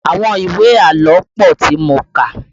Àwọn ìwé àlọ́ pọ tí mo kà